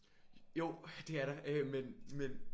Jo det er der øh men men